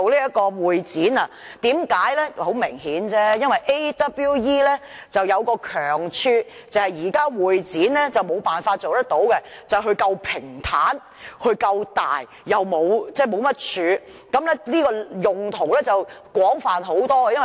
很明顯，亞洲國際博覽館有一強項，是現時會展無法做到的，就是它夠平坦、夠大，沒有太多支柱，用途廣泛很多。